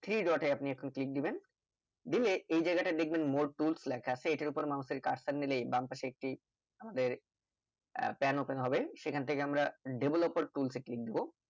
three dot আপনি একটু click দিবেন দিয়ে এই জায়গা তাই দেখবেন more tools লেখা আছে এইটার ওপরে mouse এর কাজটা নিলে বামপাশে একটি আমাদের আহ pan open হবে সেখান থেকে আমরা developer tools এ click দেব